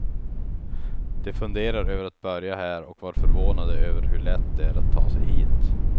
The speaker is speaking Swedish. De funderar över att börja här och var förvånade över hur lätt det är att ta sig hit.